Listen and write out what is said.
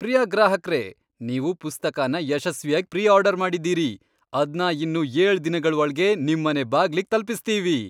ಪ್ರಿಯ ಗ್ರಾಹಕ್ರೇ! ನೀವು ಪುಸ್ತಕನ ಯಶಸ್ವಿಯಾಗ್ ಪ್ರೀ ಆರ್ಡರ್ ಮಾಡಿದೀರಿ. ಅದ್ನ ಇನ್ನು ಏಳ್ ದಿನಗಳ್ ಒಳ್ಗೆ ನಿಮ್ಮನೆ ಬಾಗ್ಲಿಗ್ ತಲ್ಪಿಸ್ತೀವಿ.